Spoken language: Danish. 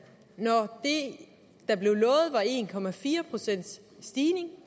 når det der blev lovet var en stigning